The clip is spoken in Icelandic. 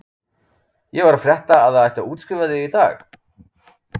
Ég var að frétta að það ætti að útskrifa þig í dag.